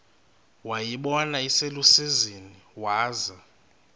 wayibona iselusizini waza